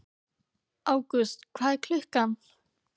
Ágúst, hvað er klukkan?